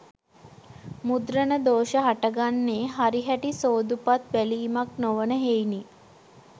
මුද්‍රණ දෝෂ හටගන්නේ හරිහැටි සෝදුපත් බැලීමක් නොවන හෙයිනි.